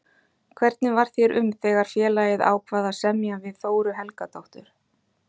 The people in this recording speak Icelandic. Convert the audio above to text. Hvernig varð þér um þegar félagið ákvað að semja við Þóru Helgadóttur?